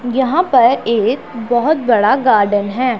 यहां पर एक बहोत बड़ा गार्डन है।